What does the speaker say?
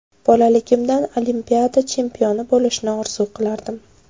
Bolaligimdan Olimpiada chempioni bo‘lishni orzu qilardim.